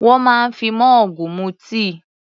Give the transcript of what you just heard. Wọ́n máa ń fi mọ́ọ̀gù mu tíì.